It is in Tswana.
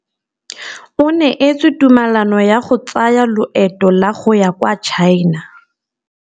O neetswe tumalanô ya go tsaya loetô la go ya kwa China.